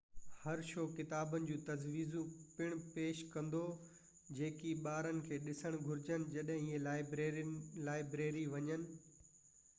هر شو ڪتابن جون تجويزون پڻ پيش ڪندو جيڪي ٻارن کي ڏسڻ گهرجن جڏهن اهي لائبريري وڃن